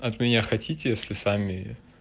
от меня хотите если сами